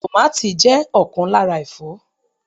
Tomàti jẹ́ ọ̀kan lára Ẹ̀fọ́.